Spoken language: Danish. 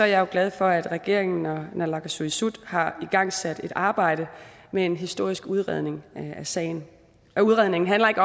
jeg jo glad for at regeringen og naalakkersuisut har igangsat et arbejde med en historisk udredning af sagen udredningen handler ikke